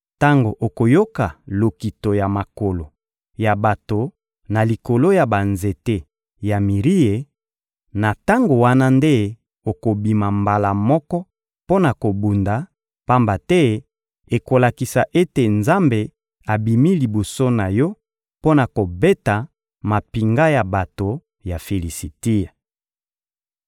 Tango okoyoka lokito ya makolo ya bato na likolo ya banzete ya mirie, na tango wana nde okobima mbala moko mpo na kobunda; pamba te ekolakisa ete Nzambe abimi liboso na yo mpo na kobeta mampinga ya bato ya Filisitia.»